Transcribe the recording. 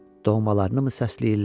Doğmalarınımı səsləyirlər?